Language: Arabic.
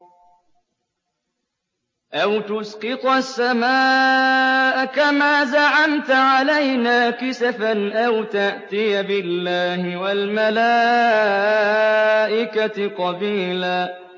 أَوْ تُسْقِطَ السَّمَاءَ كَمَا زَعَمْتَ عَلَيْنَا كِسَفًا أَوْ تَأْتِيَ بِاللَّهِ وَالْمَلَائِكَةِ قَبِيلًا